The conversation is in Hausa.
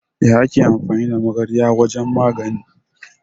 Ya ake amfani da magarya a wajan magani?